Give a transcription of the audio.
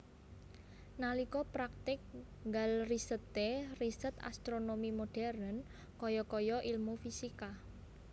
Nalika praktik nggal riseté riset astronomi modern kaya kaya ilmu fisika